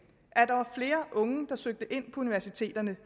at der var flere unge der søgte ind på universiteterne